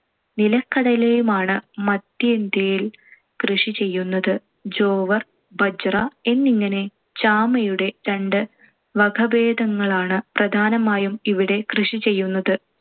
നിലക്കടലയുമാണ്‌ മദ്ധ്യേന്ത്യയിൽ കൃഷി ചെയ്യുന്നത്. ജോവർ, ബജ്ര എന്നിങ്ങനെ ചാമയുടെ രണ്ടു വകഭേദങ്ങളാണ്‌ പ്രധാനമായും ഇവിടെ കൃഷി ചെയ്യുന്നത്.